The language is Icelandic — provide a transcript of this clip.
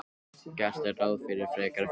Gert er ráð fyrir frekari fjölgun